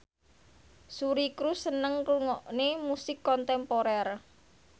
Suri Cruise seneng ngrungokne musik kontemporer